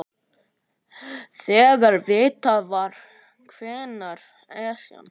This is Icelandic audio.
Þegar vitað var hvenær Esjan